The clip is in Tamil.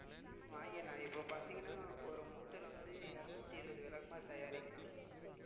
உம் வாங்கிடலாம் இப்ப பார்த்தீங்கன்னா ஒரு மூட்டையில வந்து இருநூத்தி இருபது விளக்குமாறு தயாரிக்கலாம்